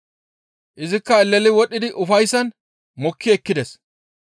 Izikka eleli wodhdhidi ufayssan mokki ekkides.